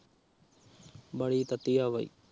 ਵਾਲੀ ਤੱਤੀ ਆ ਬਈ